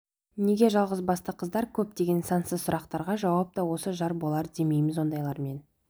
неге жалғызбасты қыздар көп деген сансыз сұрақтарға жауап та осы жар болар демейміз ондайлармен